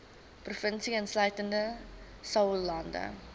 provinsie insluitende saoglande